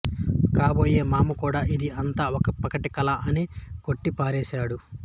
కాబోయే మామ కూడా ఇది అంతా ఒక పగటి కల అని కొట్టి పారేశాడు